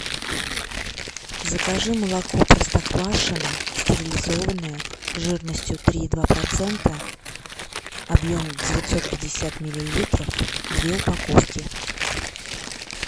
закажи молоко простоквашино стерилизованное жирностью три и два процента объем девятьсот пятьдесят миллилитров две упаковки